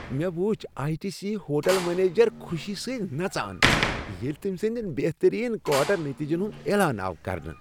مےٚ وچھ I T C hotel manager خوشی سۭتۍ نژان ییٚلہ تٔمۍ سندین بہترین کواٹر نتیجن ہند اعلان آو کرنہٕ